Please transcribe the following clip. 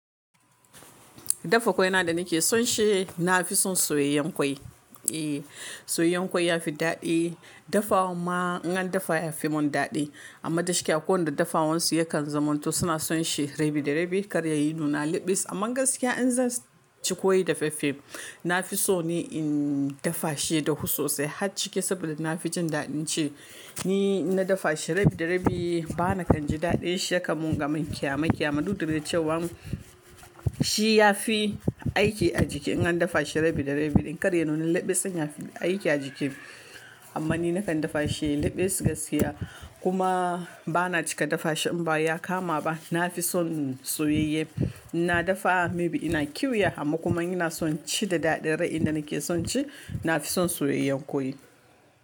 Dafa ƙwai na da nake son shi, na fi son soyayyen ƙwai. Eh, soyayyen ƙwai ya fi daɗi, dafawan ma in an dafa ya fi mun daɗi amma gaskiya ko da dafa wansu yakan zamanto suna son shi rabi da rabi kar ya yi nuna liɓis amma gaskiya in zan ci ƙwai da faffafe na fi so ni in dafa shi ya dahu sosai har ciki saboda na fi jin daɗin ci. Ni inna dafa shi rabi da rabi bana kan ji daɗin shi ya kanmun kaman ƙyama ƙyama. Dudda dai cewan shi ya fi aiki a jiki in an dafa shi rabi da rabi ɗin kar ya nuna liɓis ɗin yafi aiki a jiki. Amma ni na kan dafa shi liɓis gaskiya kuma bana cika dafa shi in ba ya kama ba na fi son soyayye, inna dafa maybe ina ƙyuya amma kuma in ina son ci da daɗi rai inda nake son ci na fi son soyayyen ƙwai.